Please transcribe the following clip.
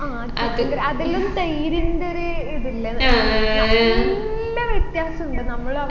ആ chicken ൻറെ അതിലും തൈരിന്റെ ഒരു ഇതില്ലേ നല്ല വ്യത്യാസമുണ്ട് നമ്മള്